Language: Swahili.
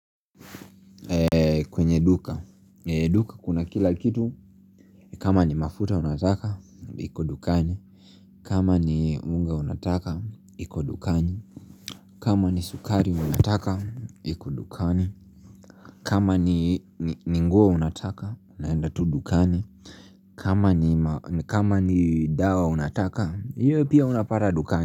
Kwenye duka, duka kuna kila kitu kama ni mafuta unataka, iko dukani. Kama ni unga unataka, iko dukani. Kama ni sukari unataka, iko dukani, kama ni nguo unataka, unaenda tu dukani. Kama ni dawa unataka, hiyo pia unapata dukani.